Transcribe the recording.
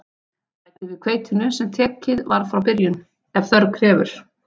Bætið við hveitinu, sem tekið var frá í byrjun, ef þörf krefur.